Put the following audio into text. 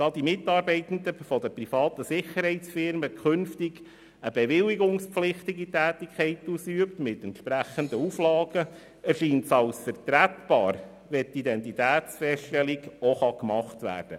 Da die Mitarbeitenden der privaten Sicherheitsunternehmen künftig eine bewilligungspflichtige Tätigkeit ausüben, die mit entsprechenden Auflagen versehen ist, erscheint es vertretbar, wenn sie auch die Identitäts feststellung vornehmen können.